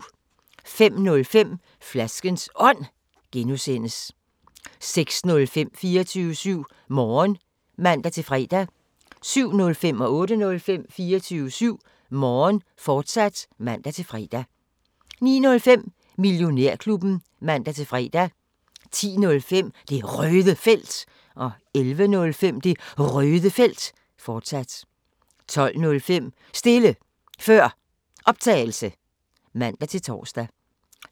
05:05: Flaskens Ånd (G) 06:05: 24syv Morgen (man-fre) 07:05: 24syv Morgen, fortsat (man-fre) 08:05: 24syv Morgen, fortsat (man-fre) 09:05: Millionærklubben (man-fre) 10:05: Det Røde Felt 11:05: Det Røde Felt, fortsat 12:05: Stille Før Optagelse (man-tor)